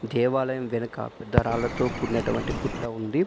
దేవాలయం వెనక పెద్ద రాళ్ళతో కూడినటువంటి గుట్ట ఉంది.